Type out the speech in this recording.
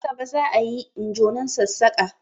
Na gaba za a yi injonan Sassaƙa